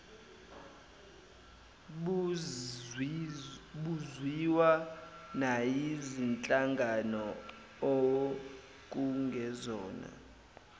buzwiwa nayizinhlangano okungezona